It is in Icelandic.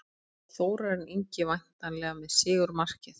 Þórarinn Ingi væntanlega með sigurmarkið.